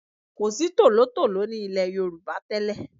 Kò sí tòlótòló ní ilẹ̀ Yorùbá tẹ́lẹ̀.